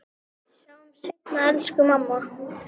Sjáumst seinna, elsku mamma.